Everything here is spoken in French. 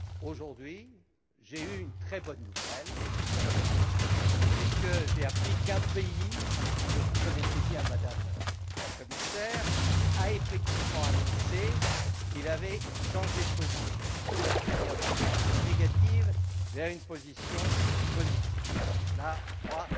Aujourd'hui, j'ai reçu une très bonne nouvelle, puisque j'ai appris qu'un pays que vous connaissez bien, Madame la Commissaire a effectivement annoncé qu'il avait changé de position, passant d'une position défavorable à une position favorable. C'est là, je crois,